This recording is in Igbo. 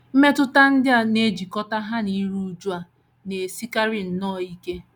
Mmetụta ndị a na - ejikọta ha na iru újú a na - esikarị nnọọ ike.